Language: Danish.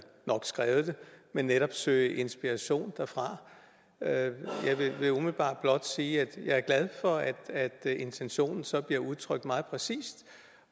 nok skrevet det men netop søge inspiration derfra jeg vil umiddelbart blot sige at jeg er glad for at intentionen så bliver udtrykt meget præcist